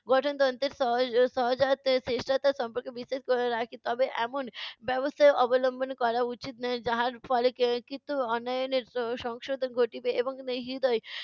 গঠনতন্ত্রের সহ~ সহজাত চেষ্টা সম্পর্কে বিশ্লেষণ করে রাখি তবে এমন ব্যবস্থা অবলম্বন করা উচিত নয় যাহার ফলে ক~ কিছু অন্যায়নের সংশোধন ঘটিবে এবং